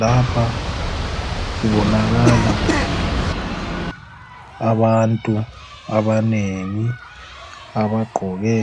Lapha kubonakala abantu abanengi abagqoke